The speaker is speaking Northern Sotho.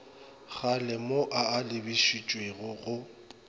kgalemo a a lebišitšweng go